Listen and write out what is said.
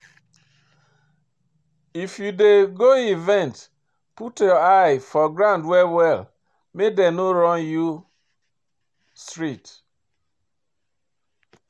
If you dey go event, put eye for ground well well make dem no run you street